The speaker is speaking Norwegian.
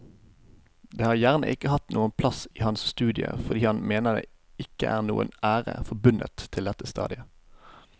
Dette har gjerne ikke hatt noen plass i hans studie fordi han mener det ikke er noen ære forbundet til dette stadiet.